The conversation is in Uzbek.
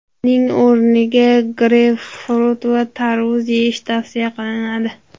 Uning o‘rniga greypfrut va tarvuz yeyish tavsiya qilinadi.